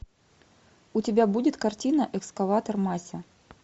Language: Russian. у тебя будет картина экскаватор мася